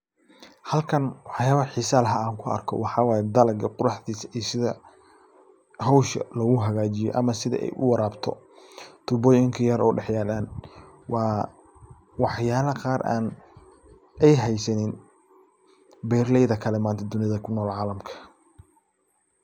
Halkan waxyaabaha xiisaha lah aan ku arko waxaa wayo dalaga sida hawsha loogu hagaajiyo ama sida ay u warabto tuubooyinka yar oo daxyalan. Waa waxyaalaha qaar ay haysanin beeralayda kale manta kunol calamka.